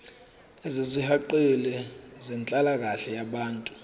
ezisihaqile zenhlalakahle yabantu